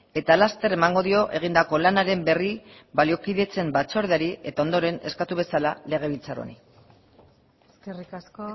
eta laster emango dio egindako lanaren berri baliokidetzen batzordeari eta ondoren eskatu bezala legebiltzar honi eskerrik asko